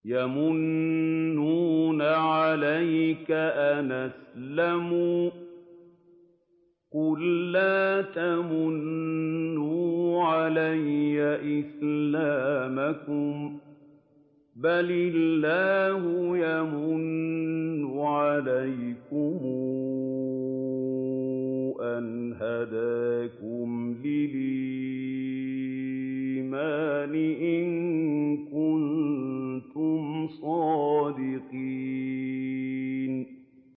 يَمُنُّونَ عَلَيْكَ أَنْ أَسْلَمُوا ۖ قُل لَّا تَمُنُّوا عَلَيَّ إِسْلَامَكُم ۖ بَلِ اللَّهُ يَمُنُّ عَلَيْكُمْ أَنْ هَدَاكُمْ لِلْإِيمَانِ إِن كُنتُمْ صَادِقِينَ